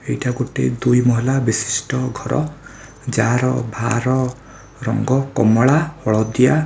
ଏଇଟା ଗୋଟେ ଦୁଇ ମହଲା ବିଶିଷ୍ଟ ଘର ଯାହାର ବାହାର ରଙ୍ଗ କମଳା ହଳଦିଆ ।